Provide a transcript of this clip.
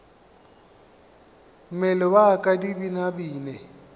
mmele wa ka di binabine